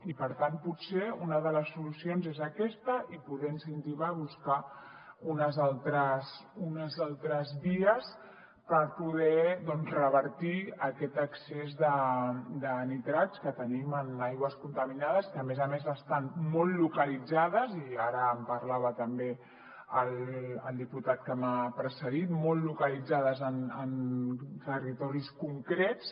i per tant potser una de les solucions és aquesta incentivar a buscar unes altres vies per poder revertir aquest excés de nitrats que tenim en aigües contaminades que a més a més estan molt localitzades i ara en parlava també el diputat que m’ha precedit molt localitzades en territoris concrets